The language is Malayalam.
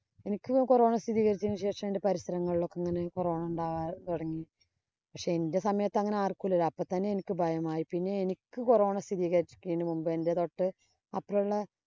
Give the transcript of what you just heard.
എനിക്ക് corona സ്ഥിരീകരിച്ച ശേഷം എന്‍റെ പരിസരങ്ങളിലോക്കെ ഇങ്ങനെ corona ഉണ്ടാകാന്‍ തുടങ്ങി. പക്ഷേ, എന്‍റെ സമയത്ത് അങ്ങനെ ആര്‍ക്കുമില്ലല്ലോ. അപ്പൊ തന്നെ എനിക്ക് ഭയമായി. പിന്നെ എനിക്ക് corona സ്ഥിരീകരിക്കുന്നതിന് മുമ്പ് എന്‍റെ തൊട്ട് അപ്പരയുള്ള